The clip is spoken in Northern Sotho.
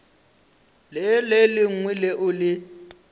le le lengwe leo le